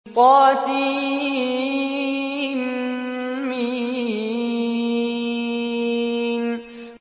طسم